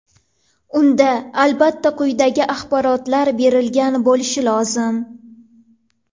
Unda albatta quyidagi axborotlar berilgan bo‘lishi lozim: !